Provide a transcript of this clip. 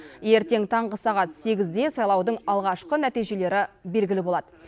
ертең таңғы сағат сегізде сайлаудың алғашқы нәтижелері белгілі болады